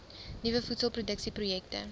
nuwe voedselproduksie projekte